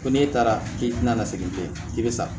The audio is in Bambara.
Ko n'e taara k'i tɛna na se bi ma i bɛ sa